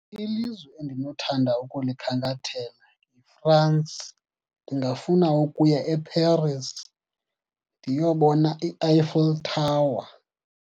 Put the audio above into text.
Ilizwe endinothanda ukulikhankathela yiFrance. Ndingafuna ukuya eParis ndiyobona iEiffel Tower.